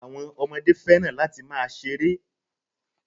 Àwọn ọmọdé fẹ́ràn láti máa ṣeré.